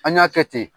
An y'a kɛ ten